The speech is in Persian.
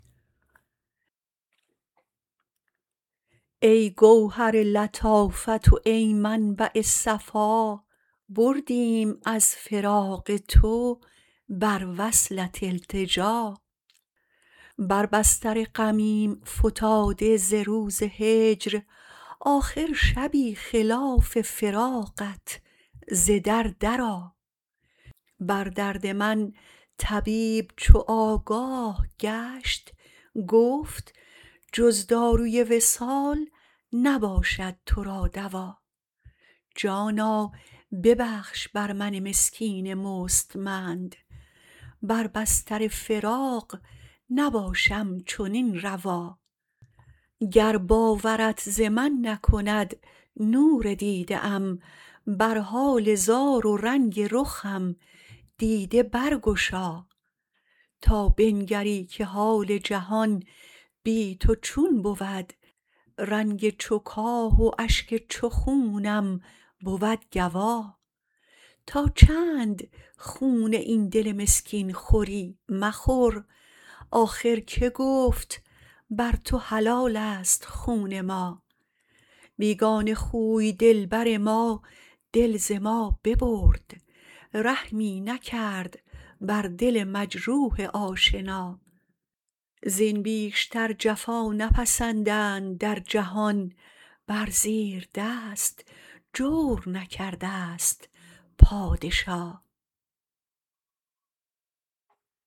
ای گوهر لطافت و ای منبع صفا بردیم از فراق تو بر وصلت التجا بر بستر غمیم فتاده ز روز هجر آخر شبی خلاف فراقت ز در درآ بر درد من طبیب چو آگاه گشت گفت جز داروی وصال نباشد تو را دوا جانا ببخش بر من مسکین مستمند بر بستر فراق نباشم چنین روا گر باورت ز من نکند نور دیده ام بر حال زار و رنگ رخم دیده برگشا تا بنگری که حال جهان بی تو چون بود رنگ چو کاه و اشک چو خونم بود گوا تا چند خون این دل مسکین خوری مخور آخر که گفت بر تو حلالست خون ما بیگانه خوی دلبر ما دل ز ما ببرد رحمی نکرد بر دل مجروح آشنا زین بیشتر جفا نپسندند در جهان بر زیر دست جور نکرده ست پادشا